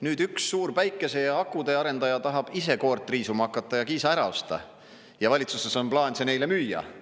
Nüüd üks suur päikese ja akude ja arendaja tahab ise koort riisuma hakata ja Kiisa ära osta ja valitsuses on plaan see neile müüa.